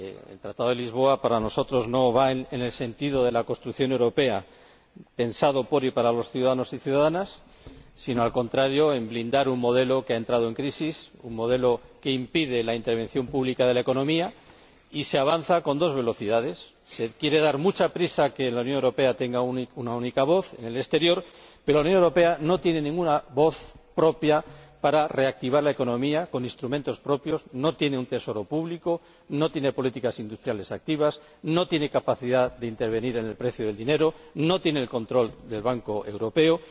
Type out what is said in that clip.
El Tratado de Lisboa, para nosotros, no va en el sentido de la construcción europea pensada por y para los ciudadanos y las ciudadanas, sino al contrario, blinda un modelo que ha entrado en crisis, un modelo que impide la intervención pública en la economía. Se desea avanzar a dos velocidades nos queremos dar mucha prisa para que la Unión Europea tenga una única voz en el exterior, pero la Unión Europea no tiene voz propia para reactivar la economía con instrumentos propios, pues no tiene un Tesoro Público, no tiene políticas industriales activas, no tiene capacidad para intervenir en el precio del dinero y no tiene el control del Banco Central Europeo.